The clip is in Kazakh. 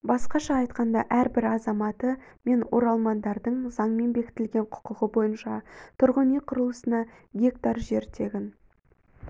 басқаша айтқанда әрбір азаматы мен оралмандардың заңмен бекітілген құқығы бойынша тұрғын үй құрылысына гектар жер тегін